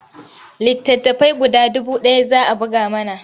Littattafai guda dubu ɗaya za a buga mana.